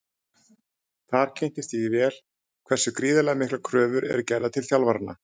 Þar kynntist ég vel hversu gríðarlega miklar kröfur eru gerðar til þjálfaranna.